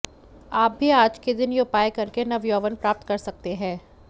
आप भी आज के दिन यह उपाय करके नवयौवन प्राप्त कर सकते हैं